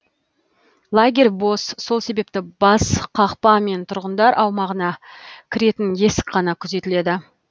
лагерь бос сол себепті бас қақпа мен тұрғындар аумағына кіретін есік қана күзетіледі